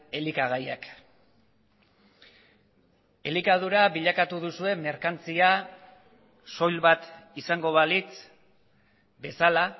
elikagaiak elikadura bilakatu duzue merkantzia soil bat izango balitz bezala